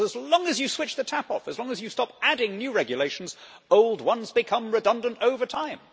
As long as you switch the tap off and as long as you stop adding new regulations, old ones become redundant over time.